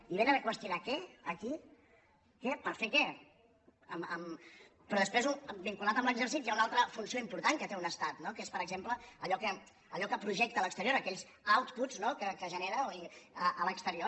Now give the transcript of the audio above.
i vénen a qüestionar què aquí per fer què però després vinculat amb l’exèrcit hi ha una altra funció important que té un estat no que és per exemple allò que projecta a l’exterior aquells outputs que genera a l’exterior